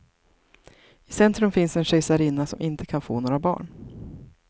I centrum finns en kejsarinna som inte kan få några barn.